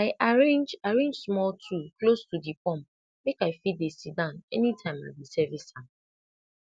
i arrange arrange small stool close to di pump make i fit dey sit down any time i dey service am